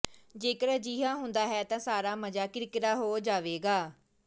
ਜੇਕਰ ਅਜਿਹਾ ਹੁੰਦਾ ਹੈ ਤਾਂ ਸਾਰਾ ਮਜ਼ਾ ਕਿਰਕਿਰਾ ਹੋ ਜਾਵੇਗਾ